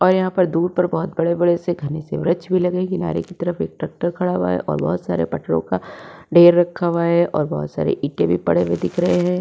और यहां पर दूर पर बोहोत बड़े-बड़े से घने वृक्ष भी लगे। किनारे की तरफ एक ट्रैक्टर भी खड़ा हुआ है और बोहोत सारे पटरों का ढेर रखा हुआ है और बोहोत सारे ईंटे भी पड़े हुए दिख रहे हैं।